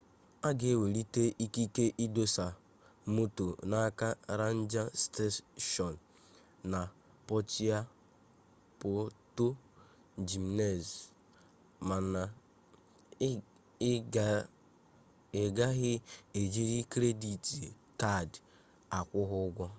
a ga-enwetali ikike idọsa moto n'aka renja steshọn na puerto jimenez mana ị gaghị ejili kredit kad akwụ ha ụgwọ